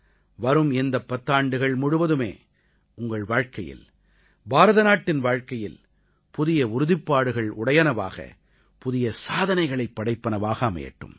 வரும் இந்தப் பத்தாண்டுகள் முழுவதுமே உங்கள் வாழ்க்கையில் பாரதநாட்டின் வாழ்க்கையில் புதிய உறுதிப்பாடுகள் உடையனவாக புதிய சாதனைகளைப் படைப்பனவாக அமையட்டும்